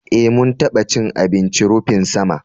Eh, mun taɓa cin abincin rufin sama